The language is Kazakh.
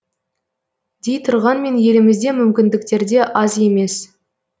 дей тұрғанмен елімізде мүмкіндіктер де аз емес